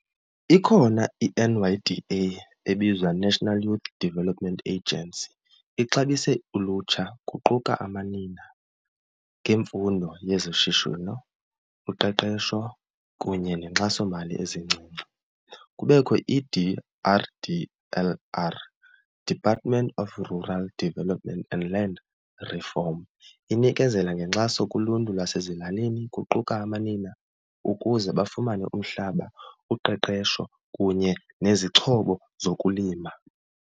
Ikhona i-N_Y_D_A ebizwa National Youth Development Agency ixabise ulutsha kuquka amanina ngeemfundo yezoshishino, uqeqesho, kunye neenkxasomali ezincinci. Kubekho i-D_R_D_L_R, Department of Rural Developments and Land Reform. Inikezela ngenkxaso kuluntu lwasezilalini kuquka amanina ukuze bafumane umhlaba, uqeqesho, kunye nezixhobo zokulima.